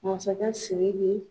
Masakɛ Siriki